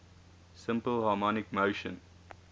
simple harmonic motion